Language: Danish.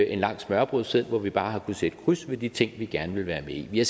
en lang smørrebrødsseddel hvor vi bare har kunnet sætte kryds ved de ting vi gerne vil være med i vi har